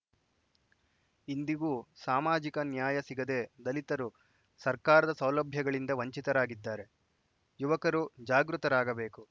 ಇಂದಿಗೂ ಸಾಮಾಜಿಕ ನ್ಯಾಯ ಸಿಗದೇ ದಲಿತರು ಸರ್ಕಾರದ ಸೌಲಭ್ಯಗಳಿಂದ ವಂಚಿತರಾಗಿದ್ದಾರೆ ಯುವಕರು ಜಾಗೃತರಾಗಬೇಕು